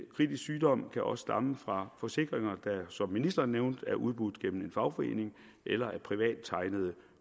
kritisk sygdom kan også stamme fra forsikringer der som ministeren nævnte er udbudt gennem en fagforening eller af privattegnede